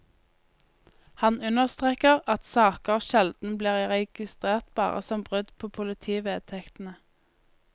Han understreker at saker sjelden blir registrert bare som brudd på politivedtektene.